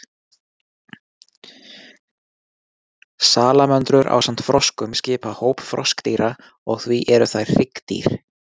Salamöndrur ásamt froskum skipa hóp froskdýra og því eru þær hryggdýr.